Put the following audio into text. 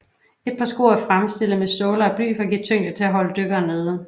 Et par sko er fremstillet med såler af bly for give tyngde til at holde dykkeren nede